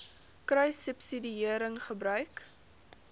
kruissubsidiëringgebruik